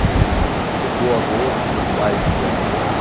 E chegou agosto, com os bailes de agosto.